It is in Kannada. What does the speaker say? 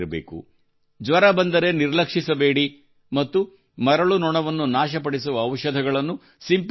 ಜ್ವರ ಬಂದರೆ ನಿರ್ಲಕ್ಷಿಸಬೇಡಿ ಮತ್ತು ಮರಳು ನೊಣವನ್ನು ನಾಶಪಡಿಸುವ ಔಷಧಗಳನ್ನು ಸಿಂಪಡಿಸುತ್ತಿರಿ